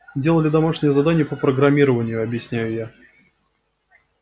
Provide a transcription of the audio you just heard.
делали домашнее задание по программированию объясняю я